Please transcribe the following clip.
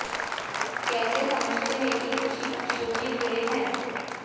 कैसे समझते हैं कि कृषि पक्षियों में कीड़े हैं